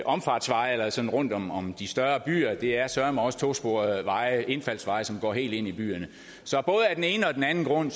omfartsveje eller sådan rundt om om de større byer det er søreme også tosporede veje indfaldsveje som går helt ind i byerne så både af den ene og den anden grund